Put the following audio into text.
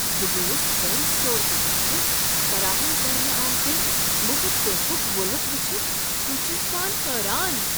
بہٕ گوس پین سٹور کہ طرفہٕ فراہم کرنہٕ آمٕتہِ مفت تحفک ووٚلُت وچھِتھ خوشی سان حیران۔